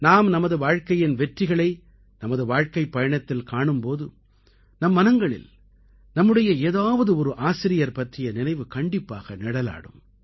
நாம் நமது வாழ்க்கையின் வெற்றிகளை நமது வாழ்க்கைப் பயணத்தில் காணும் போது நம் மனங்களில் நம்முடைய ஏதாவது ஒரு ஆசிரியர் பற்றிய நினைவு கண்டிப்பாக நிழலாடும்